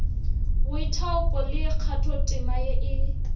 boithaupo le kgathotema ye e